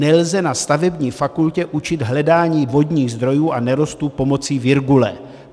Nelze na stavební fakultě učit hledání vodních zdrojů a nerostů pomocí virgule.